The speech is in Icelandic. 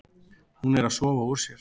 Hún er að sofa úr sér.